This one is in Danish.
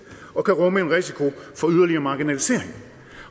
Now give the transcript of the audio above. og kan rumme en risiko for yderligere marginalisering